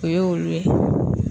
O ye olu ye.